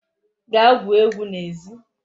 Gaa gwuo egwu n'ezi